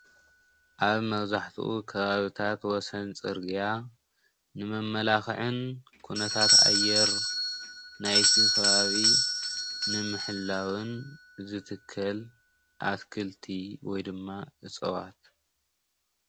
ኣብ መብዛሕትኡ ከባቢታት ወሰን ፅርግያ ንመመላክዕን ኩነታት ኣየር ናይቲ ከባቢ ንምሕላውን ዝትከል ኣትክልቲ ወይ ድማ እፅዋት